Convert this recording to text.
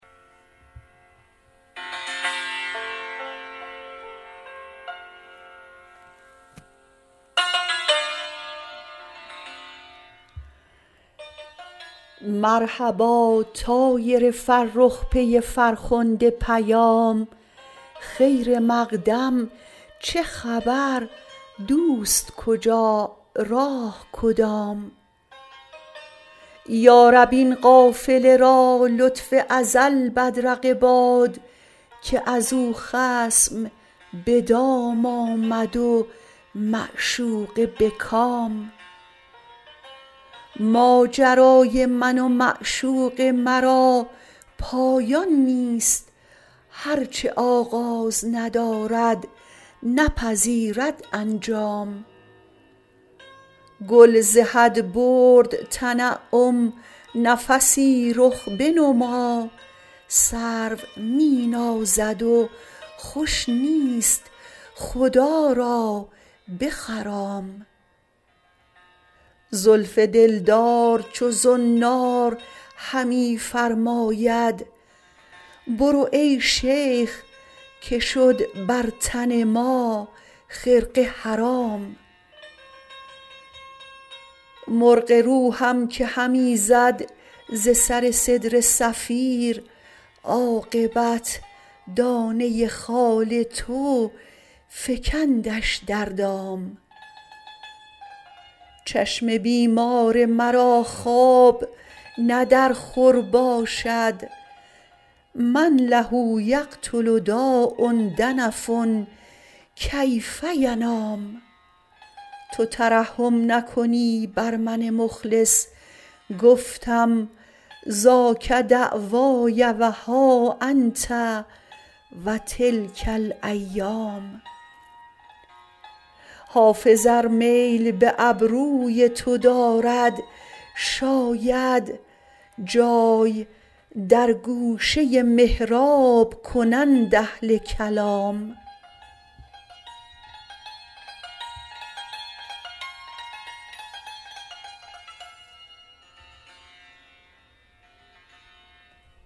مرحبا طایر فرخ پی فرخنده پیام خیر مقدم چه خبر دوست کجا راه کدام یا رب این قافله را لطف ازل بدرقه باد که از او خصم به دام آمد و معشوقه به کام ماجرای من و معشوق مرا پایان نیست هر چه آغاز ندارد نپذیرد انجام گل ز حد برد تنعم نفسی رخ بنما سرو می نازد و خوش نیست خدا را بخرام زلف دلدار چو زنار همی فرماید برو ای شیخ که شد بر تن ما خرقه حرام مرغ روحم که همی زد ز سر سدره صفیر عاقبت دانه خال تو فکندش در دام چشم بیمار مرا خواب نه در خور باشد من له یقتل داء دنف کیف ینام تو ترحم نکنی بر من مخلص گفتم ذاک دعوای و ها انت و تلک الایام حافظ ار میل به ابروی تو دارد شاید جای در گوشه محراب کنند اهل کلام